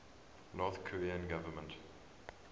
north korean government